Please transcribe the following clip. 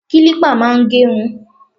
Kílípà máa ń gé irun.